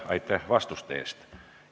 Aitäh vastuste eest!